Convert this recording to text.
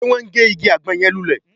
Ṣe wọ́n ń gé igi àgbọn yẹn lulẹ̀ ni?